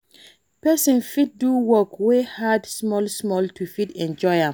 Person fit do work wey hard small small to fit enjoy am